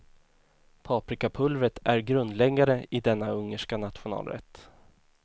Paprikapulvret är grundläggande i denna ungerska nationalrätt.